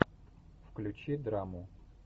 включи драму